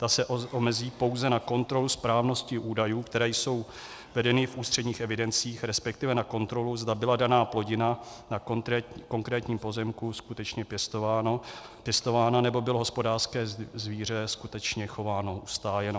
Ta se omezí pouze na kontrolu správnosti údajů, které jsou vedeny v ústředních evidencích, respektive na kontrolu, zda byla daná plodina na konkrétním pozemku skutečně pěstována nebo bylo hospodářské zvíře skutečně chováno, ustájeno.